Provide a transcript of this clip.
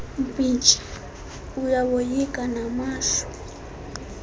mpintshi uyawoyika namashwa